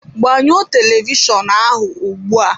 Gbanyụọ televishọnụ ahụ́ ugbu a!